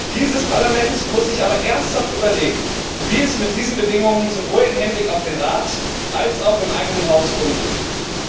Dieses Parlament muss sich aber ernsthaft überlegen, wie es mit diesen Bedingungen sowohl im Hinblick auf den Rat als auch im eigenen Haus umgehen will.